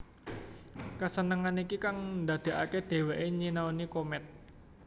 Kesenengan iki kang ndadekake dheweke nyinaoni komet